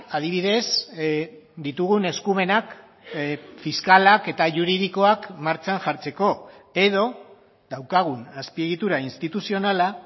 adibidez ditugun eskumenak fiskalak eta juridikoak martxan jartzeko edo daukagun azpiegitura instituzionala